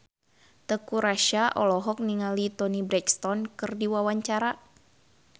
Teuku Rassya olohok ningali Toni Brexton keur diwawancara